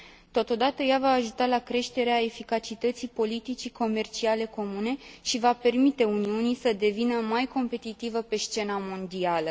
Totodată, ea va ajuta la creșterea eficacității politicii comerciale comune și va permite Uniunii să devină mai competitivă pe scena mondială.